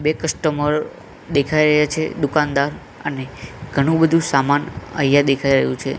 બે કસ્ટમર દેખાય રહ્યા છે દુકાનદાર અને ઘણુ બધુ સામાન અહિયા દ્દેખાય રહ્યુ છે.